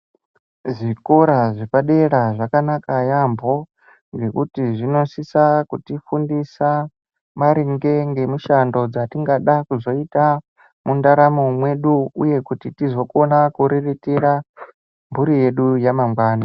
Zvikora zvepadera zvakanaka yaambo ngekuti zvinosisa kutifundisa maringe ngemushando dzatingada kuzoita mundaramo mwedu uye kuti tizokona kuriritira mburi yedu yamangwani.